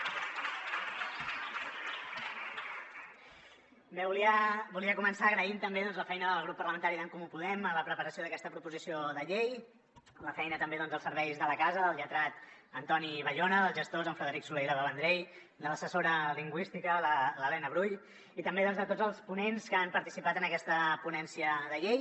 bé volia començar agraint també la feina del grup parlamentari d’en comú podem en la preparació d’aquesta proposició de llei la feina també dels serveis de la casa del lletrat antoni bayona dels gestors en frederic solé i l’eva vendrell de l’assessora lingüística l’helena brull i també de tots els ponents que han participat en aquesta ponència de llei